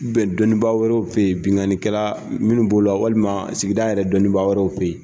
dɔnnibaa wɛrɛw fe yen, binkannikɛla munnu b'o la walima sigida yɛrɛ dɔnnibaa wɛrɛw fe yen.